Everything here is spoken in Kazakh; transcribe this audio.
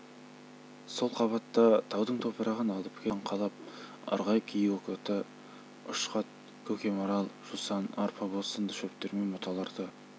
сол қабатта таудың топырағын алып келіп тастан қалап ырғай киікоты үшқат көкемарал жусан арпабоз сынды шөптер мен бұталарды